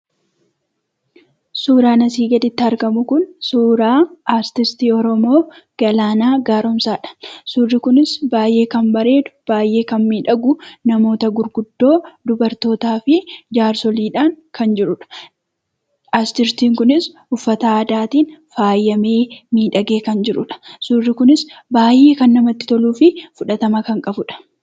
Suuraan asii gaditti argamu kun suuraa artistii Oromoo Galaanaa Gaaromsaadha. Suurri kunis baay'ee kan bareedu , baay'ee kan miidhagu , namoota gurguddoo, dubartootaa fi jaarsoliidhaan kan jirudha. Aartistiin kunis uffata aadaatiin faayamee miidhagee kan jirudha. suurri kunis baay'ee kan namatti toluu fi fudhatama kan qabudha.